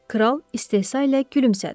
Kral istehza ilə gülümsədi.